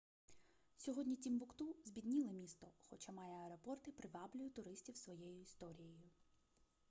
сьогодні тімбукту збідніле місто хоча має аеропорт і приваблює туристів своєю історією